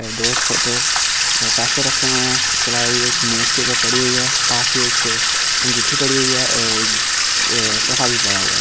दो छोटे रखे हुए हैं इसके आलावा एक मेज़ के ऊपर पड़ी हुयी हैं पास ही एक अंगूठी पड़ी हुयी हैं और एक पड़ा हुआ हैं।